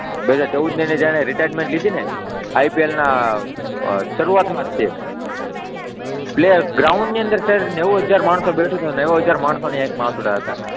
બે હજાર ચૌદની અંદર જ્યારે એને રિટાયર્ટમેન્ટ લીધીને IPL ના શરૂઆતમાં જ ગ્રાઉન્ડની નેવું હજાર માણસો બેઠું હતું, નેવું હજાર માણસોની આંખમાં આસુડાં હતા.